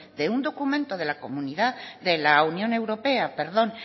de un documento de la unión europea